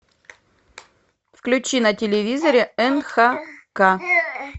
включи на телевизоре нхк